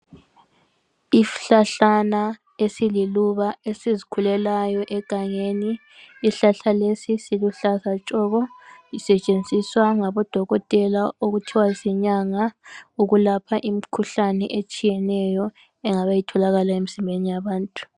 Isihlahlana esililuba esizikhulelayo egangeni. Isihlahla lesi siluhlaza tshoko. Sisetshenziswa ngabodokotela okuthiwa zinyanga ukulapha imikhuhlane etshiyeneyo ingabe itholakala emzimbeni yabantu.